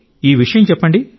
ఈ విషయం చెప్పండి